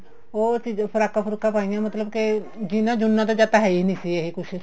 ਉਹ ਅਸੀਂ ਫਰਾਕਾਂ ਫ੍ਰੁਕਾਂ ਪਾਈਆਂ ਮਤਲਬ ਕੇ ਜੀਨਾ ਜੂਨਾ ਹੈ ਹੀ ਨਹੀਂ ਸੀ ਇਹ ਕੁੱਝ